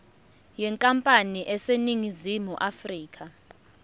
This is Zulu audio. yenkampani eseningizimu afrika